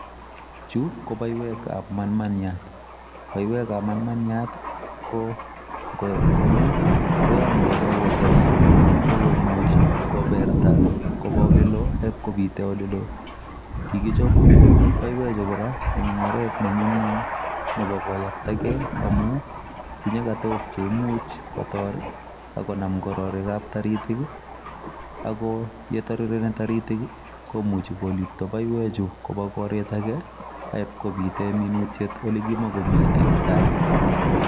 Chu ko baiwekab manmaniat, baiwekab manmaniat ko ngokonyo koyamtos ak koterso ak komuchi koberta koba oleloo ak ip kopite ole loo. Kikichop baiwechu eng oret ne nyumnyum nebo koyaptakei amu tinye katook chemuch kotor ak konam kororikab taritiki ii, ak ko ye tarireni taritik ii, komuchi kolipto baiwechu koba koret ake ak ipkobite minutiet ole kimokomi eng tai.